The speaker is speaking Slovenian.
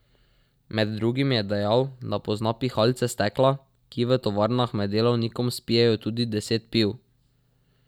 Med drugim je dejal, da pozna pihalce stekla, ki v tovarnah med delovnikom spijejo tudi deset piv.